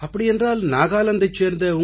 அப்படியென்றால் நாகாலாந்தைச் சேர்ந்த